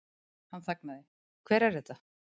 Hann þagnaði, Hver er þetta?